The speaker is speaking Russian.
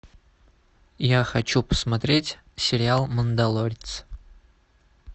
я хочу посмотреть сериал мандалорец